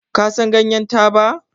Kasan yadda ganyar taba?